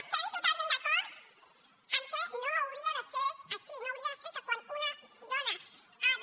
estem totalment d’acord en que no hauria de ser així no hauria de ser que quan una dona ha de